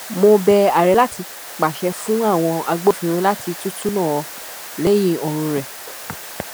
mo bẹ ààrẹ láti pàṣẹ fún àwọn agbófinró láti tútúnná lẹyìn ọrùn rẹ